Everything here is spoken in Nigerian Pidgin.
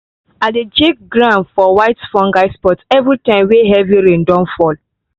i dey check ground for white fungus spot everytime wey heavy rain don fall.